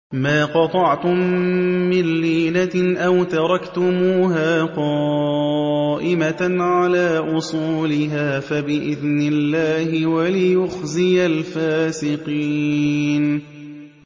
مَا قَطَعْتُم مِّن لِّينَةٍ أَوْ تَرَكْتُمُوهَا قَائِمَةً عَلَىٰ أُصُولِهَا فَبِإِذْنِ اللَّهِ وَلِيُخْزِيَ الْفَاسِقِينَ